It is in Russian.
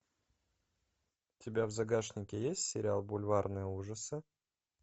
у тебя в загашнике есть сериал бульварные ужасы